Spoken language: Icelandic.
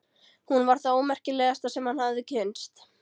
Hún var það ómerkilegasta sem hann hafði kynnst.